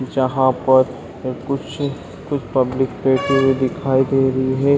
जहाँ पर अ कुछ कुछ पब्लिक बैठी हुई दिखाई दे रही है ।